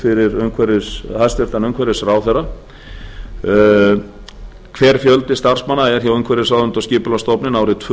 fyrir hæstvirtur umhverfisráðherra fyrstu hver var fjöldi starfsmanna hjá umhverfisráðuneyti og skipulagsstofnun árin tvö